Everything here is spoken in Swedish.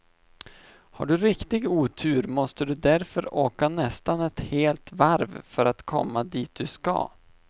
Har du riktig otur måste du därför åka nästan ett helt varv för att komma dit du ska.